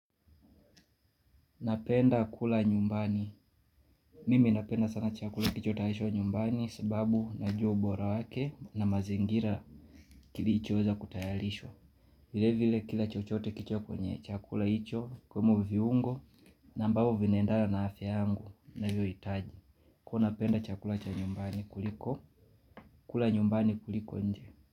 Napenda kula nyumbani. Mimi napenda sana chakula kilicho tayarishwa nyumbani sababu najua ubora wake na mazingira kilicho weza kutayarishwa. Vile vile kila chochote kilicho kwenye chakula hicho ikiwemo viungo na ambavyo vinaendana na afya yangu ninavyo hitaji. Huwa napenda chakula cha nyumbani kuliko. Kula nyumbani kuliko nje.